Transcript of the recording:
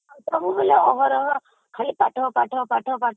ସବୁବେଳେ ଅହରହ ଖାଲି ପାଠ ପାଠ ପାଠ